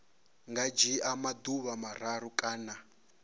nga dzhia maḓuvha mararu kana